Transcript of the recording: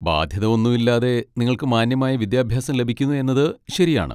ബാധ്യത ഒന്നും ഇല്ലാതെ നിങ്ങൾക്ക് മാന്യമായ വിദ്യാഭ്യാസം ലഭിക്കുന്നു എന്നത് ശരിയാണ്.